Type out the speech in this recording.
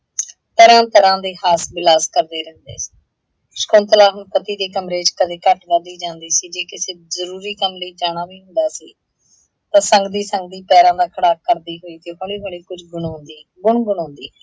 ਤਰ੍ਹਾਂ ਤਰ੍ਹਾਂ ਦੇ ਹਾਸ ਵਿਲਾਸ ਕਰਦੇ ਰਹਿੰਦੇ। ਸ਼ਕੁੰਤਲਾ ਹੁਣ ਪਤੀ ਦੇ ਕਮਰੇ ਚ ਕਦੇ ਘੱਟ ਵੱਧ ਹੀ ਜਾਂਦੀ ਸੀ, ਜੇ ਕਿਸੇ ਜ਼ਰੂਰੀ ਕੰਮ ਲਈ ਜਾਣਾ ਵੀ ਹੁੰਦਾ ਸੀ ਤਾਂ ਸੰਗਦੀ - ਸੰਗਦੀ ਪੈਰਾਂ ਦਾ ਖੜਾਕ ਕਰਦੀ ਹੋਈ ਤੇ ਹੌਲੀ - ਹੌਲੀ ਕੁੱਝ ਗੁਣਾਉੰਦੀ ਗੁਣ - ਗੁਣਾਉੰਦੀ।